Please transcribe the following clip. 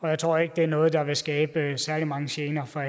jeg tror ikke det er noget der vil skabe særlig mange gener for